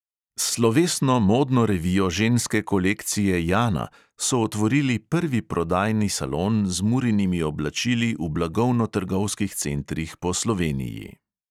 S slovesno modno revijo ženske kolekcije jana so otvorili prvi prodajni salon z murinimi oblačili v blagovno trgovskih centrih po sloveniji.